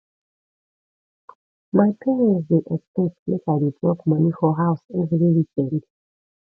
my parents dey expect make i dey drop money for house every weekend